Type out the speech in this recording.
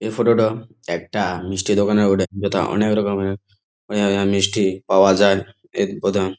এই ফটো -টো একটা মিষ্টির দোকানের বটে যেটা অনেক রকমের আহ মিষ্টি পাওয়া যায় এটি প্রথম--